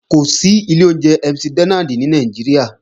Kò sí ilé oúnjẹ McDonald ní Nàìjíríà